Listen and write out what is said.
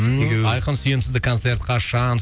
айқын сүйем сізді концерт қашан